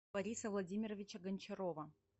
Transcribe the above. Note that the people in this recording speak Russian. бориса владимировича гончарова